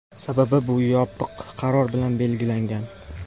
Sababi — bu yopiq qaror bilan belgilangan.